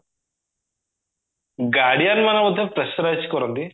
guardian ମାନେ ମଧ୍ୟ pressurize କରନ୍ତି